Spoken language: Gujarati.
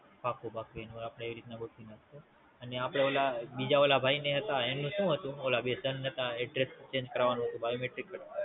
પાક્કું પાક્કું, આપડે એનું એ રીત ના ગોઠવી નાખશું અને ઓલા